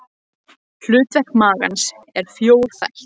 Hlutverk magans er fjórþætt.